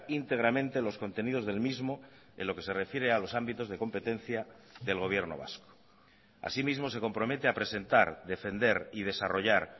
íntegramente los contenidos del mismo en lo que se refiere a los ámbitos de competencia del gobierno vasco así mismo se compromete a presentar defender y desarrollar